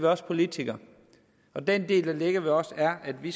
os politikere og den del der ligger hos os er at vi